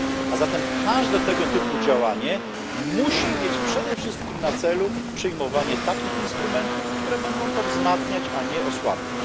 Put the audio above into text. A zatem każde tego typu działanie musi mieć przede wszystkim na celu przyjmowanie takich instrumentów, które będą to wzmacniać a nie osłabiać.